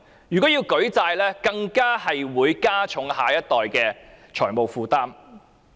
如要舉債，更會加重下一代的財務負擔。